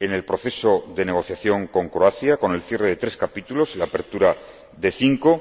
en el proceso de negociación con Croacia, con el cierre de tres capítulos y la apertura de cinco.